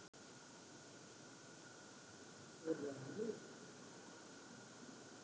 Hafsteinn: Voru það mistök?